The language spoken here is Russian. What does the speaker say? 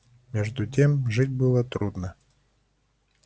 между тем жить было трудно